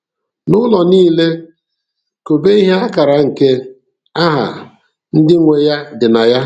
N'ụlọ niile kobe ihe akara nke aha ndị nwe ya dị na ya.